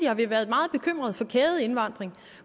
har vi været meget bekymret for kædeindvandring